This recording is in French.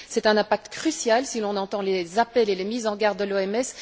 C'est un impact crucial si l'on entend les appels et les mises en garde de l'OMS.